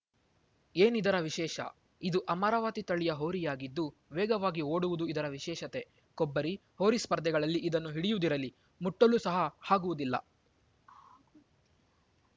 ಏನಿದರ ವಿಶೇಷ ಇದು ಅಮರಾವತಿ ತಳಿಯ ಹೋರಿಯಾಗಿದ್ದು ವೇಗವಾಗಿ ಓಡುವುದು ಇದರ ವಿಶೇಷತೆ ಕೊಬ್ಬರಿ ಹೋರಿ ಸ್ಪರ್ಧೆಗಳಲ್ಲಿ ಇದನ್ನು ಹಿಡಿಯುವುದಿರಲಿ ಮುಟ್ಟಲು ಸಹ ಆಗುವುದಿಲ್ಲ